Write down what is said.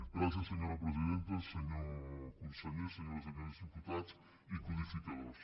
gràcies senyora presidenta senyor conseller senyores i senyors diputats i codificadors